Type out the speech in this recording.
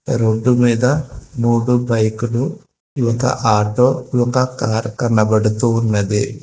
Road మీద మూడు బైకులు ఒక ఆటో ఒక కార్ కనపడుతూ ఉన్నది.